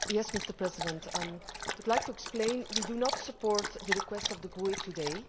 Mr President, we would like to explain we do not support the request of the GUE today.